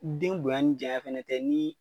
Den bonya ni janya fana tɛ ni